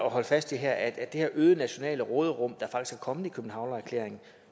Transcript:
at holde fast i her at det her øgede nationale råderum der faktisk er kommet i københavnererklæringen